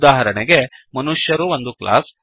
ಉದಾಹರಣೆಗೆ ಮನುಷ್ಯರು ಒಂದು ಕ್ಲಾಸ್